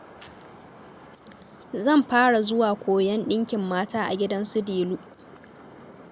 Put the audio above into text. Zan fara zuwa koyan ɗinkin mata a gidan su Delu